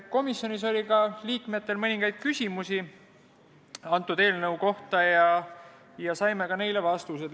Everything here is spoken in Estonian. Komisjoni liikmetel oli ka mõningaid küsimusi eelnõu kohta ja me saime neile vastused.